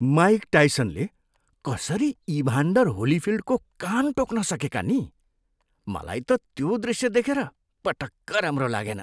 Mic टाइसनले कसरी Evander होलीफिल्डको कान टोक्न सकेका नि? मलाई त त्यो दृष्य देखेर पटक्क राम्रो लागेन।